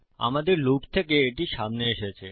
আমাদের লুপ থেকে এটি সামনে এসেছে